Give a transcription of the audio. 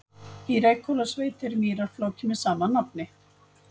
Í Reykhólasveit er mýrarfláki með sama nafni.